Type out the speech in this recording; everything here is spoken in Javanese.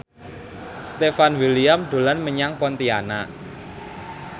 Stefan William dolan menyang Pontianak